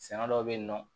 Sɛnɛ dɔw bɛ yen nɔ